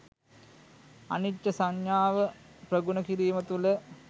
අනිච්ච සඤ්ඤාව ප්‍රගුණ කිරීම තුළ